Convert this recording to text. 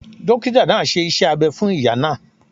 Dókítà náà ṣe iṣẹ́ abẹ fún ìyá náà